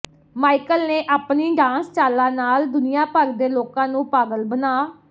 Michael ਨੇ ਆਪਣੀ dance ਚਾਲਾਂ ਨਾਲ ਦੁਨੀਆ ਭਰ ਦੇ ਲੋਕਾਂ ਨੂੰ ਪਾਗਲ ਬਣਾ